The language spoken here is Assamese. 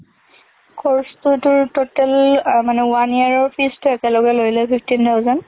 course টো তোৰ total ~আ মানে one year ৰ fees টো একেলগে লৈ লয়, fifteen thousand।